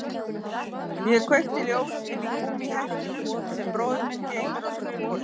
Ég kveiki ljós inní gúmmíhnettinum sem bróðir minn geymir á skrifborðinu.